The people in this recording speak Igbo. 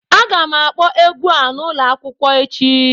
Aga m akpọ egwu a n'ụlọ akwụkwọ echi